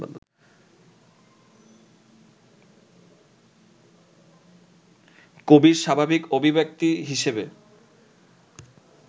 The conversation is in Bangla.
কবির স্বাভাবিক অভিব্যক্তি হিসেবে